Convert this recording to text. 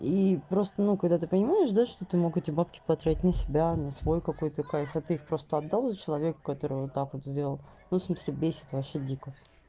и просто ну когда ты понимаешь да что ты мог эти бабки потрать на себя на свой какой то кайф а ты их просто отдал за человека которого так вот сделал ну в смысле бесит вообще дико